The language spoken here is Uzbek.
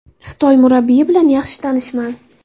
Xitoy murabbiyi bilan yaxshi tanishman.